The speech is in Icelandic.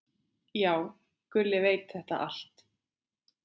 Já, Gulli veit þetta allt.